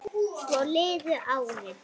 Svo liðu árin.